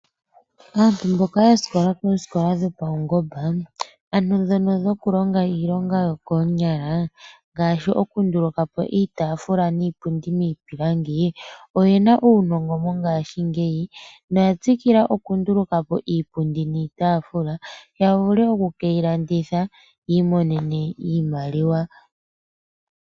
Aantu mboka ya sikola koosikola dhopaungomba ano ndhono dhokulonga iilonga yokoonyala ngaashi oku ndulukapo iipundi niitaafula miipilangi , oye na uunongo mongashingeyi, noya tsikila oku nduluka po iipundi niitaafula ya vule oku ke yi landitha opo yi imonene iimaliwa.